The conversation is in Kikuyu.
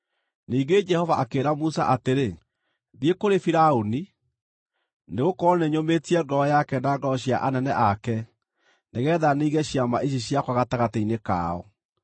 Ningĩ Jehova akĩĩra Musa atĩrĩ, “Thiĩ kũrĩ Firaũni, nĩgũkorwo nĩnyũmĩtie ngoro yake na ngoro cia anene ake nĩgeetha ninge ciama ici ciakwa gatagatĩ-inĩ kao;